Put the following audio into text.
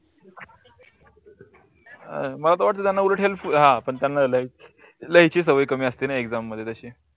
अह मला वाटल पण त्यांना नाही लिहाची सवय कमी असतेना exam मध्ये तसी.